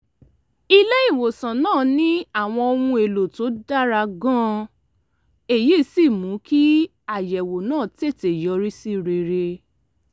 ilé-ìwòsàn náà ní àwọn ohun èlò tó dára gan-an èyí sì mú kí àyẹ̀wò náà tètè yọrí sí rere